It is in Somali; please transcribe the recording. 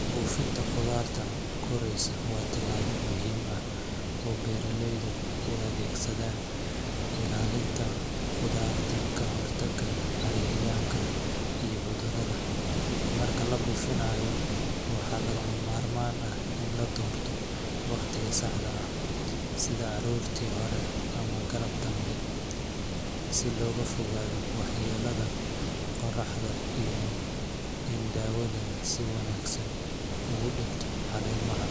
Buufinta khudaarta koraysa waa tallaabo muhiim ah oo beeraleydu u adeegsadaan ilaalinta khudaarta ka hortagga cayayaanka iyo cudurrada. Marka la buufinayo, waxaa lagama maarmaan ah in la doorto waqtiga saxda ah sida aroortii hore ama galab dambe si looga fogaado waxyeellada qorraxda iyo in daawadu si wanaagsan ugu dhegto caleemaha.